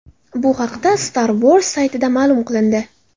Bu haqda StarWars saytida ma’lum qilindi .